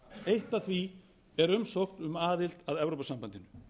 eitt af því er umsókn um aðild að evrópusambandinu